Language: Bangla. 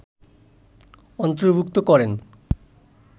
অন্তর্ভূক্ত করেন